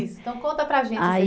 Isso, então conta para a gente